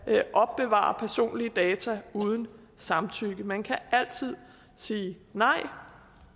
opbevare personlige data uden samtykke man kan altid sige nej